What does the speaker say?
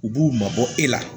U b'u mabɔ e la